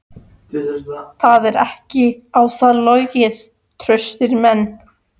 Það er ekki á þá logið: traustir menn.